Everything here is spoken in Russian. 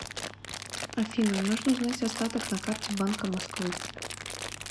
афина нужно узнать остаток на карте банка москвы